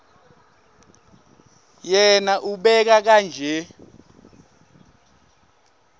yena ubeka kanje